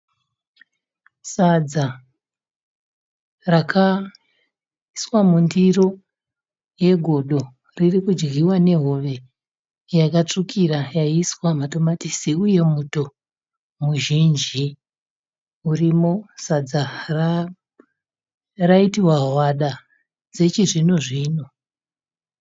Sadza rakaiswa mundiro yegodo ririkudyiwa nehove yakatsvukira yaiswa matomatisi, uye muto muzhinji urimo. Sadza raitiwa hwada dzechi zvino zvino.